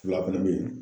Fila fɛnɛ bɛ yen